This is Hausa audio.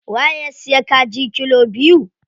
Waye ya siya kaji kilo biyu?